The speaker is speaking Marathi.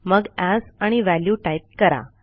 मग एएस आणि व्हॅल्यू टाईप करा